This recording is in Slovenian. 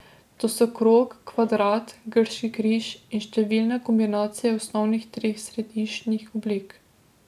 To so krog, kvadrat, grški križ in številne kombinacije osnovnih treh središčnih oblik.